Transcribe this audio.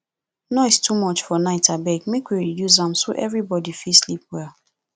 noise too much for night abeg make we reduce am so everybody fit sleep well